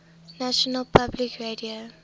national public radio